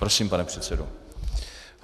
Prosím, pane předsedo.